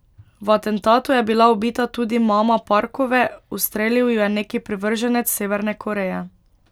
V atentatu je bila ubita tudi mama Parkove, ustrelil jo je neki privrženec Severne Koreje.